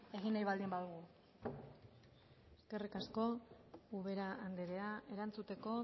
egin nahi baldin badugu eskerrik asko ubera andrea erantzuteko